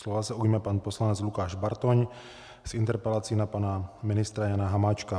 Slova se ujme pan poslanec Lukáš Bartoň s interpelací na pana ministra Jana Hamáčka.